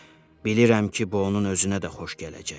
Bilirəm ki, bu onun özünə də xoş gələcək.